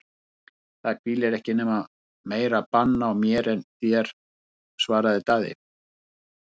Það hvílir ekki meira bann á mér en þér, svaraði Daði.